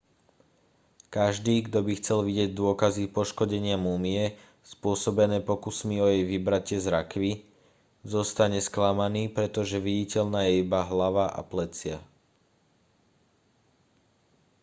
každý kto by chcel vidieť dôkazy poškodenia múmie spôsobené pokusmi o jej vybratie z rakvy zostane sklamaný pretože viditeľná je iba hlava a plecia